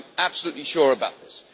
I am absolutely sure about this.